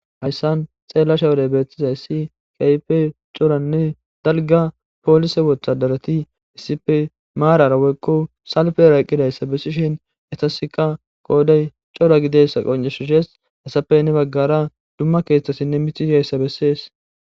hayssan xeellasha wodey beettizayssi kayfe coranne dalga poolise wothadarati issipe maarara woykko salfera eqqidayssa bessishen etaska qoodey cora gidessa qoncesishees heyisafey ne baggara dumma keeththasinne mitiiyayssa bessees